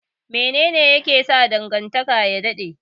Mene ne yake sa dangantaka ya dade?